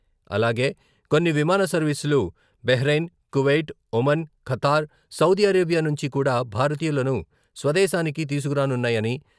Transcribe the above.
అలాగే కొన్ని విమాన సర్వీసులు Bahrain, Kuwait, Oman, Qatar, Saudi Arabia నుంచి కూడా భారతీయులను స్వదేశానికి తీసుకురానున్నాయని...